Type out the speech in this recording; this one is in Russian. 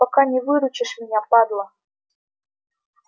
пока не выручишь меня падла